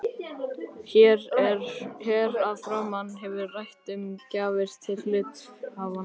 Hér að framan hefur verið rætt um gjafir til hluthafanna.